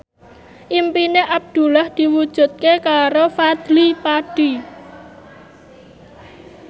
impine Abdullah diwujudke karo Fadly Padi